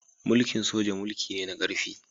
Mulki'n soja mulki ne na karfi.